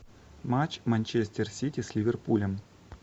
матч манчестер сити с ливерпулем